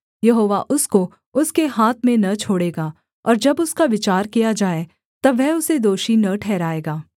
यहोवा उसको उसके हाथ में न छोड़ेगा और जब उसका विचार किया जाए तब वह उसे दोषी न ठहराएगा